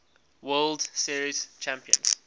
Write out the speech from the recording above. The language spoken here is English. world series champions